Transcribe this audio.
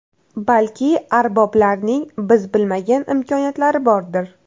Balki ARBOBlarning biz bilmagan imkoniyatlari bordir.